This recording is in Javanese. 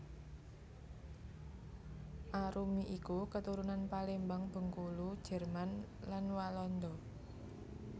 Arumi iku keturunan Palembang Bengkulu Jerman lan Walanda